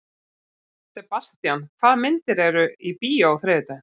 Sebastian, hvaða myndir eru í bíó á þriðjudaginn?